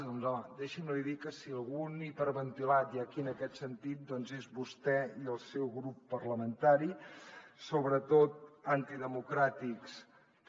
doncs home deixi’m dir li que si algun hiperventilat hi ha aquí en aquest sentit és vostè i el seu grup parlamentari sobretot antidemocràtics també